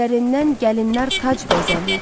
Güllərindən gəlinlər tac bəzərlər.